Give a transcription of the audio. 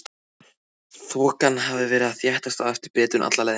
Þokan hafði verið að þéttast á eftir Bretum alla leiðina.